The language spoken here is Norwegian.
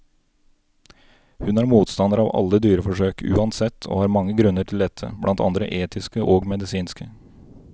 Hun er motstander av alle dyreforsøk, uansett, og har mange grunner til dette, blant andre etiske og medisinske.